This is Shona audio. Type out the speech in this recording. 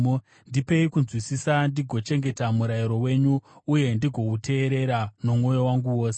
Ndipei kunzwisisa, ndigochengeta murayiro wenyu uye ndigouteerera nomwoyo wangu wose.